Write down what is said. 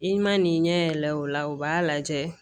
I ma n'i ɲɛ yɛlɛ o la u b'a lajɛ